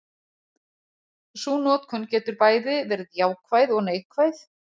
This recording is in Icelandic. Sú notkun getur bæði verið jákvæð og neikvæð.